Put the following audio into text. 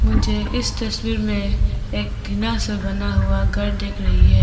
मुझे इस तस्वीर में एक टीना से बना हुआ घर देख रही है।